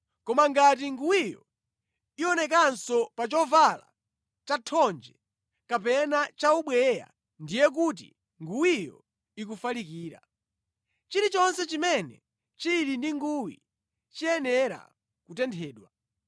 Koma ngati nguwiyo iwonekanso pa chovala chathonje kapena chaubweya ndiye kuti nguwiyo ikufalikira. Chilichonse chimene chili ndi nguwi chiyenera kutenthedwa.